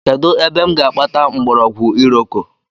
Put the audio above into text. Kedụ ebe m ga-akpata mgbọrọgwụ iroko?